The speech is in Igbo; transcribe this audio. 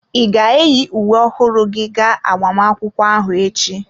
Ị ga-eyi uwe ọhụrụ gị ga agbamakwụkwọ ahụ echi?